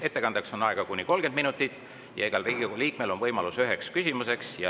Ettekandeks on aega kuni 30 minutit, igal Riigikogu liikmel on võimalus esitada üks küsimus.